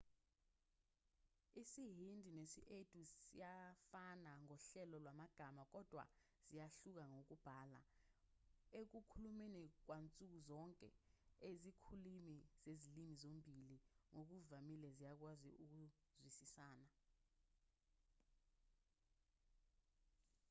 isihindi nesi-urdu ziyafana ngohlelo lwamagama kodwa ziyahluka ngokubhala ekukhulumeni kwansuku zonke izikhulumi zezilimi zombili ngokuvamile ziyakwazi ukuzwisisana